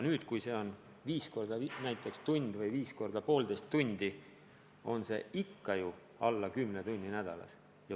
Kui ta treenib viis korda näiteks tund või poolteist tundi, on see ikka alla kümne tunni nädalas.